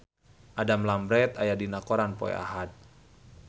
Adam Lambert aya dina koran poe Ahad